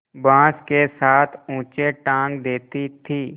बाँस के साथ ऊँचे टाँग देती थी